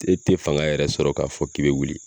E te fanga yɛrɛ sɔrɔ k'a fɔ k'i be wuli